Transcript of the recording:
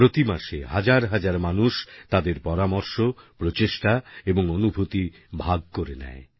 প্রতি মাসে হাজার হাজার মানুষ তাদের পরামর্শ প্রচেষ্টা এবং অনুভূতি ভাগ করে নেয়